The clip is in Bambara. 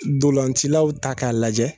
Dolancilaw ta k'a lajɛ